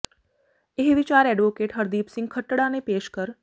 ਇਹ ਵਿਚਾਰ ਐਡਵੋਕੇਟ ਹਰਦੀਪ ਸਿੰਘ ਖੱਟੜਾ ਨੇ ਪੇਸ਼ ਕਰ